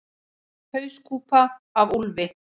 Hauskúpa af úlfi.